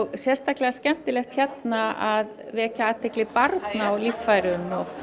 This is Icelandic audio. sérsatklega skemmtilegt hérna að vekja athygli barna á líffærum